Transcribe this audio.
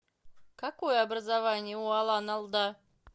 какое образование у алан алда